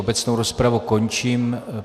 Obecnou rozpravu končím.